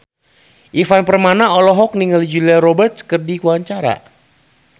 Ivan Permana olohok ningali Julia Robert keur diwawancara